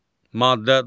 Maddə 93.